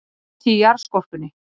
Hiti í jarðskorpunni